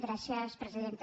gràcies presidenta